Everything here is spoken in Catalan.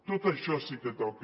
tot això sí que toca